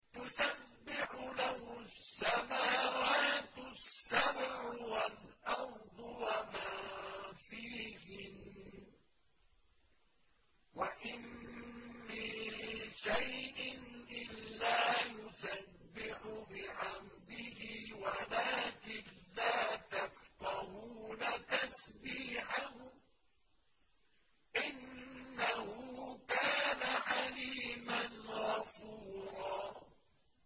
تُسَبِّحُ لَهُ السَّمَاوَاتُ السَّبْعُ وَالْأَرْضُ وَمَن فِيهِنَّ ۚ وَإِن مِّن شَيْءٍ إِلَّا يُسَبِّحُ بِحَمْدِهِ وَلَٰكِن لَّا تَفْقَهُونَ تَسْبِيحَهُمْ ۗ إِنَّهُ كَانَ حَلِيمًا غَفُورًا